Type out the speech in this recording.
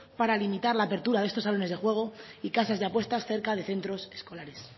para limitar la apertura de estos salones de juego y casas de apuestas cerca de centros escolares